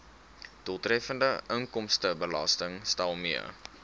doeltreffende inkomstebelastingstelsel mee